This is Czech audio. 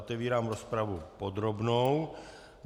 Otevírám rozpravu podrobnou.